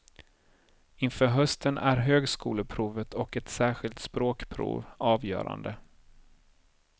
Inför hösten är högskoleprovet och ett särskilt språkprov avgörande.